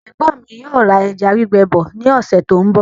Ẹ̀gbọ́n mi yóò ra ẹja gbígbẹ bọ ní ọ̀sẹ̀ tó ń bọ̀